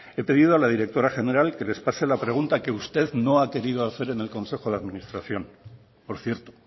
he pedido a la directora general que les pase la pregunta que usted no ha querido hacer en el consejo de administración por cierto